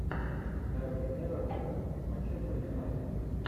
дерби эвертона с манчестер юнайтед